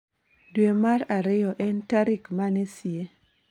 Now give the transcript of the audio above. Dwe mar ariyo en tarik mane sie